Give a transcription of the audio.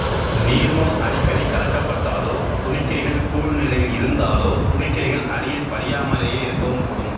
நீர்மம் அடிக்கடி கலக்கப்பட்டாலோ துணிக்கைகள் கூழ் நிலையில் இருந்தாலோ துணிக்கைகள் அடியில் படியாமலேயே இருக்கவும் கூடும்